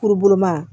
Kuruma